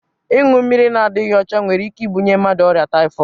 Ịñyu mmiri na dighi ọcha nwere ike ibunye mmadụ ọria Taifọọd.